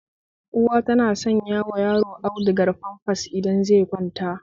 Uwa tana sanyawa yaro audugar famfas idan zai kwanta